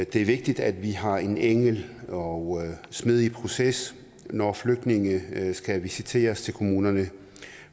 det er vigtigt at vi har en enkel og smidig proces når flygtninge skal visiteres til kommunerne